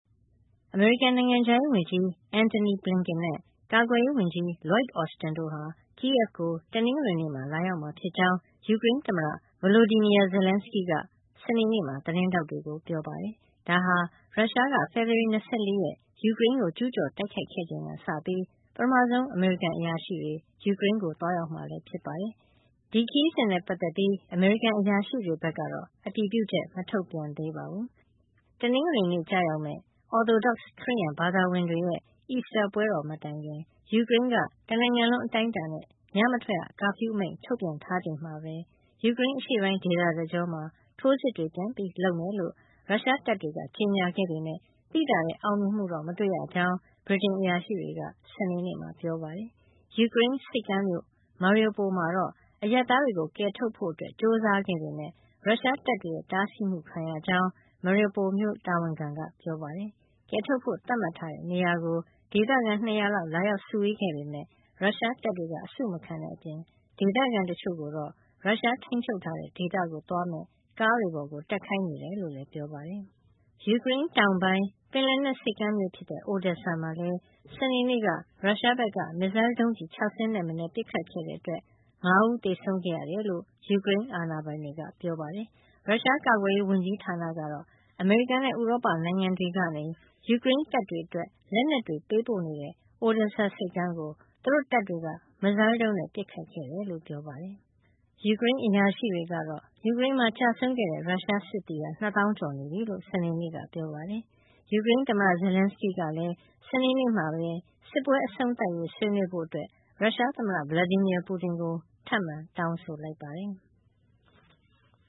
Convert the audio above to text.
အမေရိကန် နိုင်ငံခြားရေးဝန်ကြီး Antony Blinken နဲ့ ကာကွယ်ရေးဝန်ကြီး Lloyd Austin တို့ဟာ Kyiv ကို တနင်္ဂနွေနေ့မှာ လာရောက်မှာဖြစ်ကြောင်း ယူကရိန်းသမ္မတ Volodymyr Zelenskyy က စနေနေ့မှာ သတင်းထောက်တွေကို ပြောပါတယ်။ ဒါဟာ ရုရှားက ဖေဖော်ဝါရီ ၂၄ ရက် ယူကရိန်းကို ကျူးကျော်တိုက်ခိုက်ခဲ့ချိန်ကစပြီး ပထမဆုံး အမေရိကန်အရာရှိတွေ ယူကရိန်းကို သွားရောက်မှာလည်း ဖြစ်ပါတယ်။ ဒီခရီးစဉ်နဲ့ပတ်သက်ပြီး အမေရိကန် အရာရှိတွေဘက်ကတော့ အတည်ပြုချက် မထုတ်ပြန်သေးပါဘူး။ တနင်္ဂနွေနေ့ ကျရောက်မယ့် Orthodox ခရစ်ယာန်ဘာသာဝင်တွေရဲ့ အီစတာပွဲတော် မတိုင်ခင် ယူကရိန်းက တနိုင်ငံလုံး အတိုင်းအတာနဲ့ ညမထွက်ရ ကာဖျူးမိန့် ထုတ်ပြန်ထားချိန်မှာပဲ ယူကရိန်း အရှေ့ပိုင်းဒေသတကြောမှာ ထိုးစစ်တွေ ပြန်လုပ်မယ်လို့ ရုရှားတပ်တွေက ကြေညာခဲ့ပေမဲ့ သိသာတဲ့ အောင်မြင်မှု မတွေ့ရကြောင်း ဗြိတိန်အရာရှိတွေက စနေနေ့မှာ ပြောပါတယ်။ ယူကရိန်းဆိပ်ကမ်းမြို့ Mariupol မှာတော့ အရပ်သားတွေကို ကယ်ထုတ်ဖို့ ကြိုးစားခဲ့ပေမဲ့ ရုရှားတပ်တွေရဲ့ တားဆီးမှုခံရကြောင်း Mariupol မြို့ တာဝန်ခံက ပြောပါတယ်။ ကယ်ထုတ်ဖို့ သတ်မှတ်ထားတဲ့နေရာကို ဒေသခံ ၂၀၀ လောက် လာရောက်စုဝေးခဲ့ပေမဲ့ ရုရှားတပ်တွေက အစုမခံတဲ့အပြင် ဒေသခံတချို့ကိုတော့ ရုရှားထိန်းချုပ်ထားတဲ့ ဒေသကို သွားမယ့် ကားတွေပေါ် တက်ခိုင်းနေကြောင်းလည်း ပြောပါတယ်။ ယူကရိန်းတောင်ပိုင်း ပင်လယ်နက် ဆိပ်ကမ်းမြို့ဖြစ်တဲ့ Odesa မှာလည်း စနေနေ့က ရုရှားဘက်က မစ်ဇိုင်းဒုံးကျည် ၆ စင်းထက်မနည်း ပစ်ခတ်ခဲ့တဲ့အတွက် လူ ၅ ဦး သေဆုံးခဲ့ရတယ်လို့ ယူကရိန်းအာဏာပိုင်တွေက ပြောပါတယ်။ ရုရှားကာကွယ်ရေး ဝန်ကြီးဌာနကတော့ အမေရိကန်နဲ့ ဥရောပနိုင်ငံတွေကနေ ယူကရိန်းတပ်တွေအတွက် လက်နက်တွေ ပေးပို့နေတဲ့ Odesa ဆိပ်ကမ်းကို သူတို့တပ်တွေက မစ်ဇိုင်းဒုံးနဲ့ ပစ်ခတ်ခဲ့တယ်လို့ ပြောပါတယ်။ ယူကရိန်းအရာရှိတွေကတော့ ယူကရိန်းမှာ ကျဆုံးတဲ့ ရုရှားစစ်သည် ၂ သောင်း ကျော်နေပြီလို့ စနေနေ့က ပြောပါတယ်။ ယူကရိန်းသမ္မတ Zelenskyy ကတော့ စနေနေ့မှာပဲ စစ်ပွဲအဆုံးသတ်ရေး ဆွေးနွေးဖို့ ရုရှားသမ္မတ Vladimir Putin ကို ထပ်မံ တောင်းဆိုလိုက်ပါတယ်။